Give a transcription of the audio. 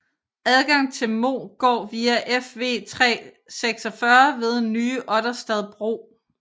Adgang til Mo går via Fv 346 ved Nye Otterstad bro